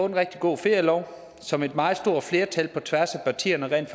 en rigtig god ferielov som et meget stort flertal på tværs af partierne rent